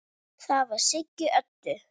Það var Siggi Öddu.